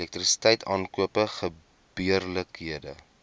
elektrisiteit aankope gebeurlikhede